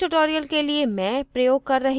इस tutorial के लिए मैं प्रयोग कर रही हूँ